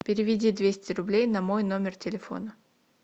переведи двести рублей на мой номер телефона